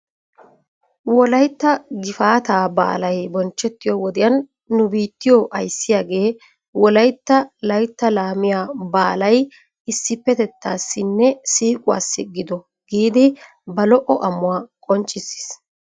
Wolaytta gifaataa baalay bonchchettiyoo wodiyan nu biittiyoo ayssiyaagee wolaytta laytta laamiyaa baalay issippetetaasinne siiquwaasi gido giidi ba lo'o amuwaa qonccissis.